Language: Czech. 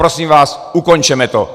Prosím vás, ukončeme to!